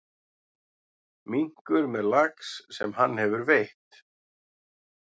Minkur með lax sem hann hefur veitt.